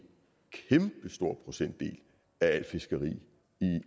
kæmpestor procentdel af alt fiskeri